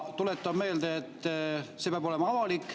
Tuletan meelde, et see peab olema avalik.